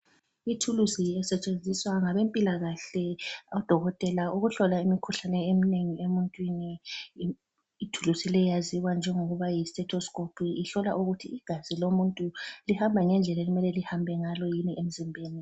Ithulusi elisetshenziswa ngabempilakahle odokotela ukuhlola imikhuhlane eminengi emuntwini. Ithulusi le yaziwa njengokuba yisethoskophu ihlola ukuthi igazi lomuntu lihamba ngendlela okumele lihambe ngalo yini emzimbeni.